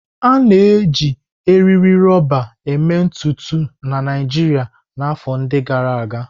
A na-eji eriri rọba eme ntutu na Naijiria na afọ ndi gara aga.